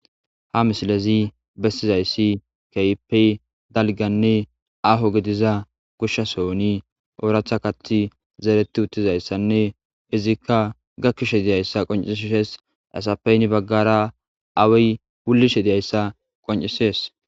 ha misilezi bestizayssi keypey dalganne aho gidiza gushsha sooni ooratha kati zeereti uttizayssanne izikka gakkishe diyayssa qoncishees asapeyni baggara awey wullishe diyayssa qoncisees